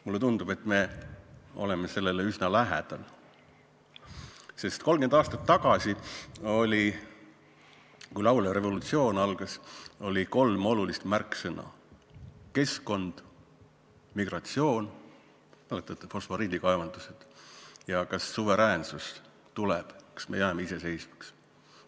Mulle tundub, et me oleme sellele üsna lähedal, sest 30 aastat tagasi, kui laulev revolutsioon algas, oli kolm olulist märksõna: keskkond, migratsioon – mäletate, fosforiidikaevandused – ja kas suveräänsus tuleb, kas me jääme iseseisvaks.